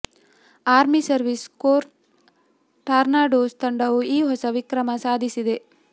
army service corps tornadoes ತಂಡವು ಈ ಹೊಸ ವಿಕ್ರಮ ಸಾಧಿಸಿದೆ